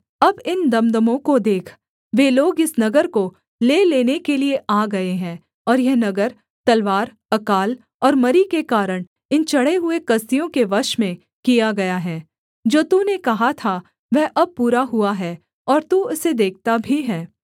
अब इन दमदमों को देख वे लोग इस नगर को ले लेने के लिये आ गए हैं और यह नगर तलवार अकाल और मरी के कारण इन चढ़े हुए कसदियों के वश में किया गया है जो तूने कहा था वह अब पूरा हुआ है और तू इसे देखता भी है